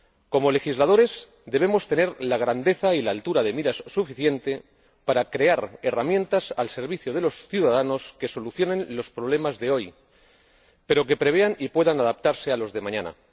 Como legisladores debemos tener la grandeza y la altura de miras suficiente para crear herramientas al servicio de los ciudadanos que solucionen los problemas de hoy, pero que prevean y puedan adaptarse a los de mañana.